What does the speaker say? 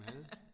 Mad?